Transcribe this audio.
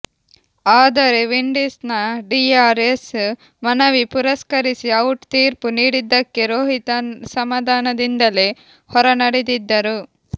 ಆದರೆ ವಿಂಡೀಸ್ ನ D R S ಮನವಿ ಪುರಸ್ಕರಿಸಿ ಔಟ್ ತೀರ್ಪು ನೀಡಿದ್ದಕ್ಕೆ ರೋಹಿತ್ ಅಸಮಾಧಾನದಿಂದಲೇ ಹೊರನಡೆದಿದ್ದರು